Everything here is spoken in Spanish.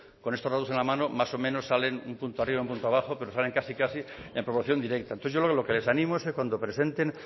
con estos datos en la mano más o menos salen un punto arriba un punto abajo pero salen casi casi en proporción directa entonces yo lo que les animo es que cuando presenten